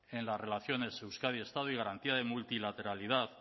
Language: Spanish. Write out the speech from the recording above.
en las relaciones euskadi estado y garantía de multilateralidad